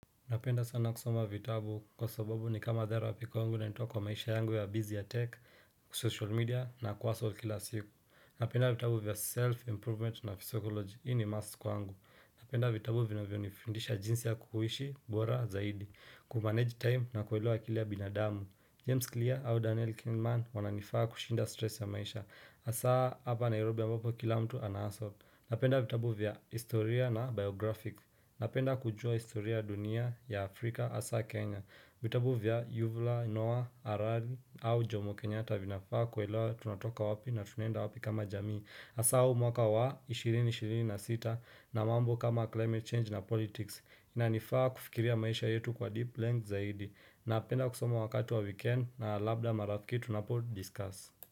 Napenda sana kusoma vitabu kwa sababu ni kama therapy kwangu na ninanitoa kwa maisha yangu ya busy ya tech, social media na kuhustle kila siku. Napenda vitabu vya self-improvement na psychology. Hii ni mask kwangu. Napenda vitabu vinavyo nifundisha jinsi ya kuhishi, bwora, zaidi. Kumanage time na kuelewa kila binadamu. James Clear au Daniel Kingman wananifaa kushinda stress ya maisha. Asa hapa Nairobi ambapo kila mtu anahasot. Napenda vitabu vya historia na biographic. Napenda kujua historia ya dunia ya Afrika asa Kenya vitabu vya Yuvula, Noah, Arari au Jomo Kenyata vinafaa kuelewa tunatoka wapi na tunaenda wapi kama jamii Asa huu mwaka wa 2026 na mambo kama climate change na politics inanifaa kufikiria maisha yetu kwa deep length zaidi Napenda kusoma wakati wa weekend na labda marafiki tunapo discuss.